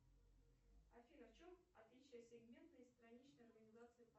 афина в чем отличие сегментной страничной организации